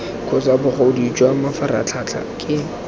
kgotsa bogodu jwa mafaratlhatlha ke